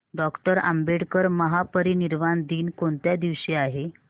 doctor Ambedkar महापरिनिर्वाण दिन कोणत्या दिवशी आहे